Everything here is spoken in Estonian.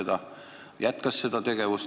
Ta aga tegi seda edasi.